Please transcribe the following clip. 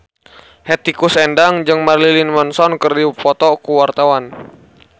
Hetty Koes Endang jeung Marilyn Manson keur dipoto ku wartawan